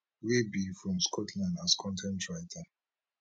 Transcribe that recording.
wey be from scotland as con ten t writer